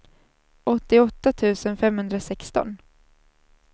åttioåtta tusen femhundrasexton